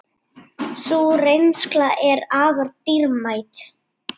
Sú reynsla er afar dýrmæt.